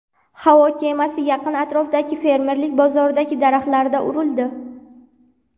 Havo kemasi yaqin atrofdagi fermerlik bozoridagi daraxtlarga urildi.